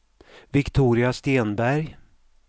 Viktoria Stenberg